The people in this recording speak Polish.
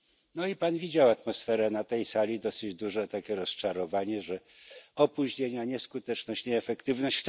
No i Pan widział atmosferę na tej sali dosyć duże takie rozczarowanie, że opóźnienia, nieskuteczność, nieefektywność.